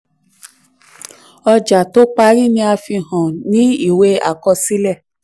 ọjà tó parí ni a fi hàn ní ìwé àkọsílẹ̀.